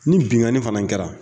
Ni binnkanni fana kɛra